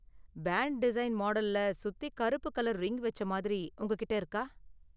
பேண்டிசைன் மாடல்ல சுத்தி கருப்பு கலர் ரிங் வெச்ச மாதிரி உங்ககிட்ட இருக்கா?